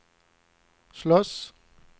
slåss